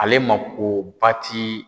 Ale makoba ti